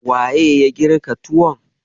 Waye ya girka tuwon?